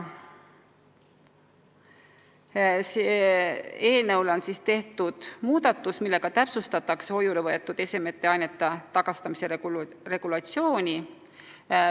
Eelnõus on tehtud muudatus, millega täpsustatakse hoiule võetud esemete ja ainete tagastamise regulatsiooni.